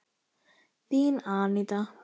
Þín, Aníta.